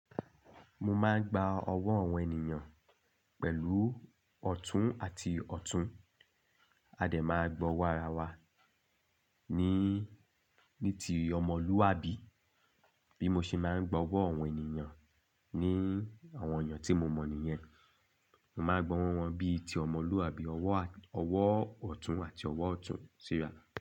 Mo máa ń gba ọwọ́ àwọn ènìyàn pẹ̀lú ọ̀tún àti ọ̀tún. A dẹ̀ máa gbọ́ wàrà wa ni ní ti ọmọlúwàbí. Bí mo ṣe máa ń gba ọwọ́ àwọn ènìyàn ni àwọn ènìyàn tí mo mọ̀ nìyẹn, mo máa gbọ́n wọn bí i ti ọmọlúwàbí, ọwọ́ ọ̀tún àti ọwọ́ ọ̀tún, sííra.